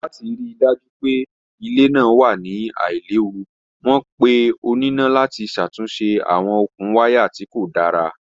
Lati rii daju pe ile naa wa ni ailewu, wọn pe onina lati ṣatunṣe awọn okun waya ti ko da.